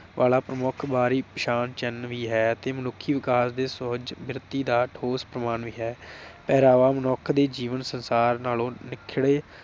ਵਾਲਾ ਪ੍ਰਮੁੱਖ ਪਛਾਣ ਚਿੰਨ ਵੀ ਹੈ ਅਤੇ ਮਨੁੱਖੀ ਵਿਕਾਸ ਦੇ ਸੋਝ ਬਿਰਤੀ ਦਾ ਠੋਸ ਪ੍ਰਮਾਣ ਹੈ। ਮਨੁੱਖ ਦੇ ਜੀਵਨ ਸੰਸਾਰ ਨਾਲੋਂ ਨਿੱਖੜੇ